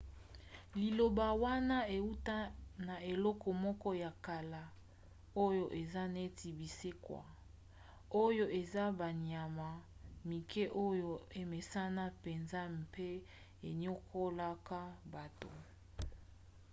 liloba wana euta na eloko moko ya kala oyo eza neti binsekwa oyo eza banyama mike oyo emesana mpenza mpe eniokolaka bato